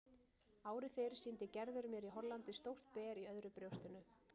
Ári fyrr sýndi Gerður mér í Hollandi stórt ber í öðru brjóstinu.